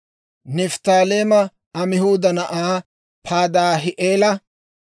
Nifttaaleema Amihuuda na'aa Padaahi'eela;